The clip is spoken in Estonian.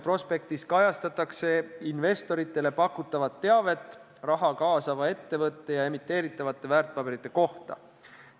Prospektis on kirjas investoritele pakutav teave raha kaasava ettevõtte ja emiteeritavate väärtpaberite kohta.